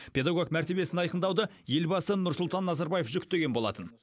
педагог мәртебесін айқындауды елбасы нұрсұлтан назарбаев жүктеген болатын